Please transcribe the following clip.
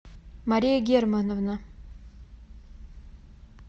мария германовна